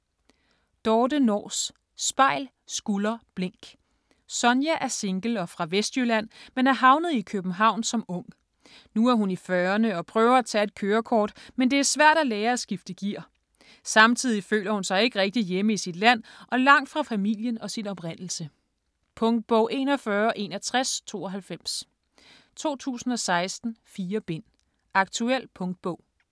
Nors, Dorthe: Spejl, skulder, blink Sonja er single og fra Vestjylland men er havnet i København som ung. Nu er hun i fyrrerne og prøver at tage et kørekort, men det er svært at lære at skifte gear. Samtidig føler hun sig ikke rigtig hjemme i sit liv og langt fra familien og sin oprindelse. Punktbog 416192 2016. 4 bind. Aktuel punktbog.